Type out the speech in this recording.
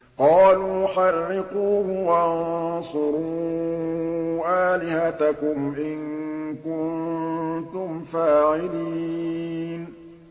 قَالُوا حَرِّقُوهُ وَانصُرُوا آلِهَتَكُمْ إِن كُنتُمْ فَاعِلِينَ